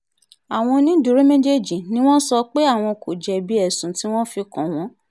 àwọn onídùúró méjèèjì ni wọ́n sọ pé àwọn kò jẹ̀bi ẹ̀sùn tí wọ́n fi kàn wọ́n